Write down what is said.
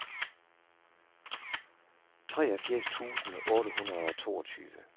treogfirs tusind otte hundrede og toogtyve